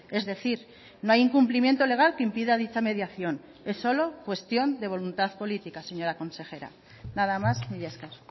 es decir no hay incumplimiento legal que impida dicha mediación es solo cuestión de voluntad política señora consejera nada más mila esker